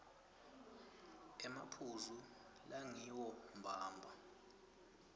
emaphuzu langiwo mbamba